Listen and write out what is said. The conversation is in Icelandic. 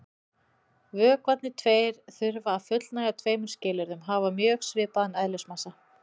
Vökvarnir tveir þurfa að fullnægja tveimur skilyrðum: Hafa mjög svipaðan eðlismassa.